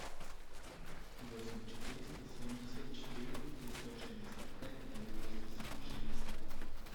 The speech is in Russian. восемь четыреста семьдесят четыре пятьсот шестьдесят пять девяносто семь шестьдесят